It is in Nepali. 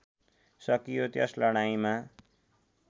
सकियो त्यस लडाईँँमा